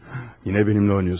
Yenə mənimlə oynayırsınız.